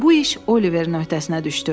Bu iş Oliverin öhdəsinə düşdü.